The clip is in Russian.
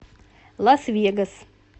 лас вегас